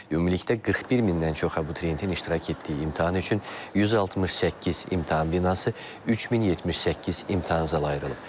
Ümumilikdə 41 mindən çox abituriyentin iştirak etdiyi imtahan üçün 168 imtahan binası, 3078 imtahan zalı ayrılıb.